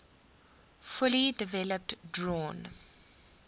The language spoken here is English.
fully developed drawn